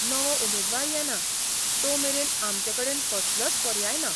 नवो उमेदवार येना, तो मेरेन आमचेकडेन कसलोच पर्याय ना.